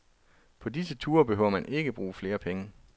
På disse ture behøver man ikke at bruge flere penge.